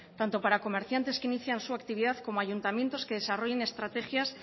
tanto para comerciantes que inician su actividad como ayuntamiento que desarrollen estrategias